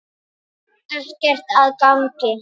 Ekkert að gagni.